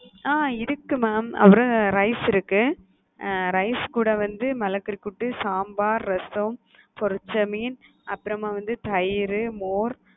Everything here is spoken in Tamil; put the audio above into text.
அ இருக்கு mam அப்புறம் rice இருக்கு rice கூட வந்து மிளகுக்கறி கூட்டு, சாம்பார், ரசம், பொரிச்சமீன், அப்புறமா வந்து தயிரு, மோர்.